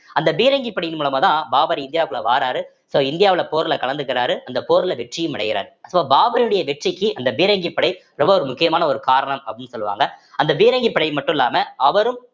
அந்த பீரங்கி படையின் மூலமாதான் பாபர் இந்தியாவுக்குள்ள வாராரு so இந்தியாவுல போர்ல கலந்துக்கிறாரு அந்த போர்ல வெற்றியும் அடைகிறார் so பாபருடைய வெற்றிக்கு அந்த பீரங்கி படை ரொம்ப ஒரு முக்கியமான ஒரு காரணம் அப்படின்னு சொல்லுவாங்க அந்த பீரங்கி படை மட்டும் இல்லாம அவரும்